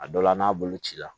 A dɔ la n'a bolo cira